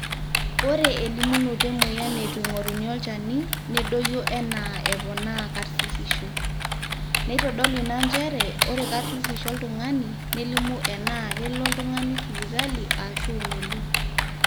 ore elimunoto emweyian neitu eing'oruni olchani nedoyio enaa epona karsisisho, neitodolu ina njere ore karsisisho oltung'ani nelimu enaa kelo oltung'ani sipitali aashu melo